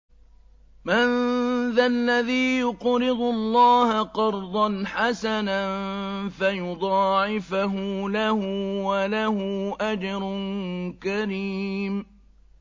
مَّن ذَا الَّذِي يُقْرِضُ اللَّهَ قَرْضًا حَسَنًا فَيُضَاعِفَهُ لَهُ وَلَهُ أَجْرٌ كَرِيمٌ